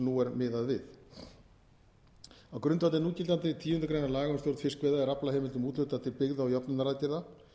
nú er miðað við á grundvelli núgildandi tíundu grein laga um stjórn fiskveiða er aflaheimildum úthlutað til byggða og jöfnunaraðgerða